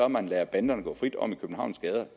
man lader banderne gå frit om i københavns gader